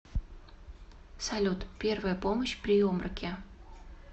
салют первая помощь при обмороке